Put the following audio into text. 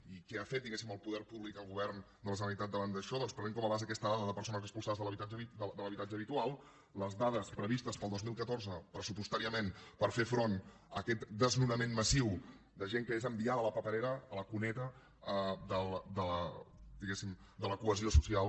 i què ha fet diguéssim el poder públic el govern de la generalitat davant d’això doncs prenent com a base aquesta dada de persones expulsades de l’habitatge habitual les dades previstes per al dos mil catorze pressupostàriament per fer front a aquest desnonament massiu de gent que és enviada a la paperera a la cuneta diguéssim de la cohesió social